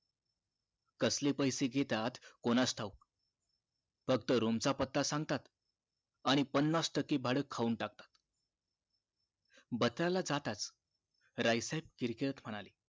कसले पैसे घेतात कोणास ठाऊक फक्त room च पत्ता सांगतात आणि पणास टक्के भाडं खाऊन टाकतात बत्रा ला जाताच राय साहेब किरकिरत म्हणाले